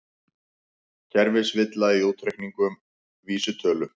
Kerfisvilla í útreikningum vísitölu